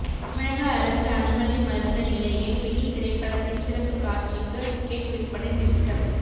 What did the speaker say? தமிழக அரசு அனுமதி மறுத்த நிலையில் பிகில் திரைப்படத்தின் சிறப்பு காட்சிக்கு டிக்கெட் விற்பனை நிறுத்தம்